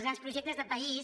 els grans projectes de país